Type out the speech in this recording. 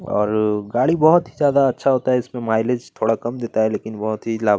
और गाड़ी बहुत ही ज्यादा अच्छा होता है इसमें माइलेज थोड़ा कम देता है लेकिन बहुत ही लाभ --